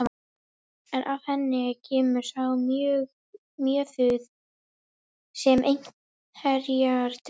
En af henni kemur sá mjöður sem einherjar drekka.